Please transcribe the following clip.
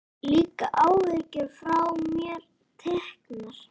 Líka áhyggjur eru frá mér teknar.